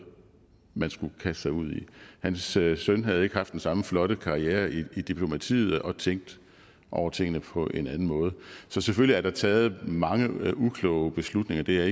man skulle kaste sig ud i hans søn søn havde ikke haft den samme flotte karriere i diplomatiet og tænkte over tingene på en anden måde så selvfølgelig er der taget mange ukloge beslutninger det er